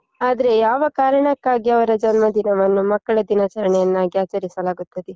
ಆದ್ರೆ ಯಾವ ಕಾರಣಕ್ಕಾಗಿ ಅವರ ಜನ್ಮ ದಿನವನ್ನು ಮಕ್ಕಳ ದಿನಾಚರಣೆಯನ್ನಾಗಿ ಆಚರಿಸಲಾಗುತ್ತದೆ?